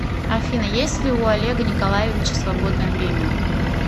афина есть ли у олега николаевича свободное время